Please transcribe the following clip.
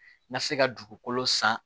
N ka se ka dugukolo san